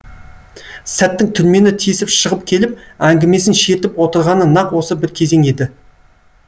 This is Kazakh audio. сәттің түрмені тесіп шығып келіп әңгімесін шертіп отырғаны нақ осы бір кезең еді